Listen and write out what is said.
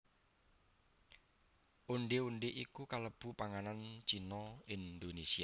Ondhé ondhé iku kalebu panganan Cina Indonésia